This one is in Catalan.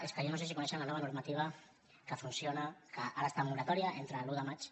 és que jo no sé si coneixen la nova normativa que funciona que ara està en moratòria entre l’un de maig